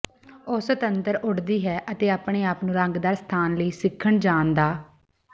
ਉਹ ਸੁਤੰਤਰ ਉੱਡਦੀ ਹੈ ਅਤੇ ਆਪਣੇ ਆਪ ਨੂੰ ਰੰਗਦਾਰ ਸਥਾਨ ਲਈ ਸਿੱਖਣ ਜਾਣ ਦਾ